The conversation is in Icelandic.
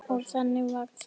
Og þannig varð það.